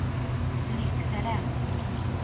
Lycksele